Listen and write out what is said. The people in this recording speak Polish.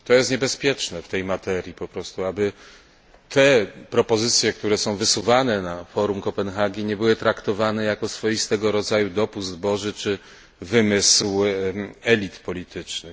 I to jest niebezpieczne w tej materii po prostu, aby te propozycje, które są wysuwane na forum Kopenhagi, nie były traktowane jako swojego rodzaju swoisty dopust boży czy wymysł elit politycznych.